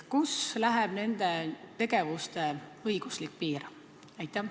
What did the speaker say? Kust läheb nende tegevuste õiguslik piir?